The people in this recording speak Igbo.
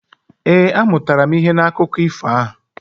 Ee, amụtara m ihe n'akụkọ ifo ahụ.